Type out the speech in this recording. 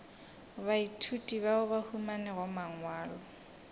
baithuti bao ba humanago mangwalo